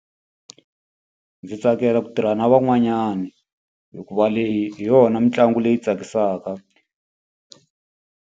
Ndzi tsakela ku tirha na van'wanyana, hikuva leyi hi yona mitlangu leyi tsakisaka.